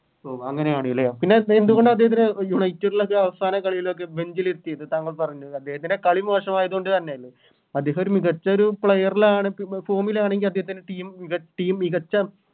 ഓ അങ്ങനെയാണ് ലെ പിന്നെ എന്തുകൊണ്ടദ്ദേഹത്തിന് United ലോക്കെ അവസാന കളിയിലൊക്കെ Bench ലിരുത്തിയത് താങ്കൾ പറഞ്ഞു അദ്ദേഹത്തിൻറെ കളി മോശമായത് കൊണ്ട് തന്നെയല്ലേ അദ്ദേഹം മികച്ച ഒരു Player ലാണ് ഇപ്പൊ Form ലാണെങ്കി അദ്ദേഹത്തിൻറെ Team team മികച്ച